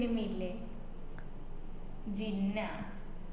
സിനിമയില്ലെ Jinnah